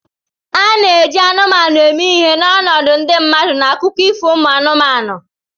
A na-eji anụmanụ eme ihe n'ọnọdụ ndị mmadụ n'akụkọ ifo umu anụmanụ